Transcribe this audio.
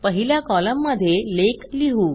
पहिल्या कॉलममध्ये लेख लिहू